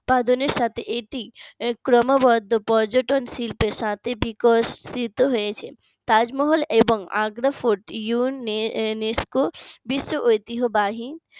উৎপাদনের সাথে এটি ক্রমাগত পর্যটন শিল্পের সাথে বিকশিত হয়েছে তাজমহল এবং আগ্রা ফোর্ট UNESCO বিশ্ব ঐতিহ্যবাহী